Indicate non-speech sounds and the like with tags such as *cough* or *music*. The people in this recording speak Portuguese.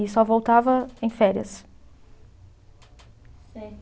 E só voltava em férias. *unintelligible*